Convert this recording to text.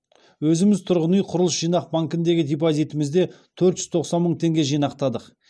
өзіміз тұрғын үй құрылыс жинақ банкіндегі депозитімізде төрт жүз тоқсан мың теңге жинақтадық